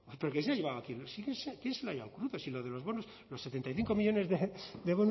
pero quién se ha llevado aquí quién se lo ha llevado crudo si lo de los bonus los setenta y cinco millónes de